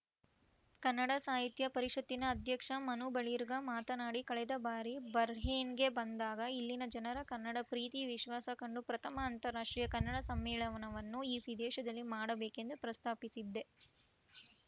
ಕನ್ನಡ ಸಾಹಿತ್ಯ ಪರಿಷತ್ತಿನ ಅಧ್ಯಕ್ಷ ಮನು ಬಳಿಗಾರ್‌ ಮಾತನಾಡಿ ಕಳೆದ ಬಾರಿ ಬಹ್ರೇನ್‌ಗೆ ಬಂದಾಗ ಇಲ್ಲಿನ ಜನರ ಕನ್ನಡ ಪ್ರೀತಿ ವಿಶ್ವಾಸ ಕಂಡು ಪ್ರಥಮ ಅಂತಾರಾಷ್ಟ್ರೀಯ ಕನ್ನಡ ಸಮ್ಮೇಳನವನ್ನು ಈ ವಿದೇಶದಲ್ಲಿ ಮಾಡಬೇಕೆಂದು ಪ್ರಸ್ತಾಪಿಸಿದ್ದೆ